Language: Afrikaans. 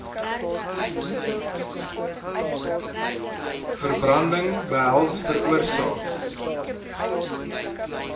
verbranding behels veroorsaak